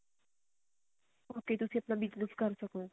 okay ਤੁਸੀਂ ਆਪਣਾ business ਕਰ ਸਕੋ